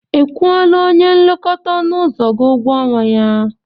Ị kwụọla onye nlekọta ọnụ ụzọ gị ụgwọ ọnwa ya?